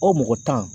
O mɔgɔ tan